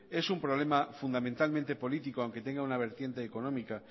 es un problema fundamentalmente político aunque tenga una vertiente económica